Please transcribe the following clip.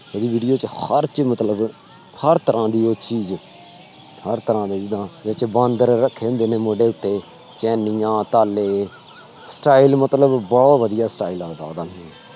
ਉਹਦੀ video ਚ ਹਰ ਚ ਮਤਲਬ ਹਰ ਤਰ੍ਹਾਂ ਦੀ ਉਹ ਚੀਜ਼ ਹਰ ਤਰ੍ਹਾਂ ਦੇ ਜਿੱਦਾਂ ਬਾਂਦਰ ਰੱਖੇ ਹੁੰਦੇ ਨੇ ਮੋਢੇ ਉੱਤੇ ਚੈਨੀਆਂ ਤਾਲੇ style ਮਤਲਬ ਬਹੁਤ ਵਧੀਆ style ਲੱਗਦਾ ਉਹਦਾ ਮੈਨੂੰ।